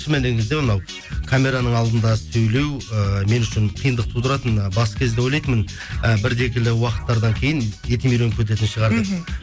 анау камераның алдында сөйлеу ііі мен үшін қиындық тудыратын ы бас кезде ойлайтынмын і бірі екілі уақыттардан кейін етім үйреніп кететін шығар деп мхм